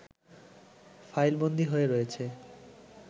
ফাইলবন্দী হয়ে রয়েছে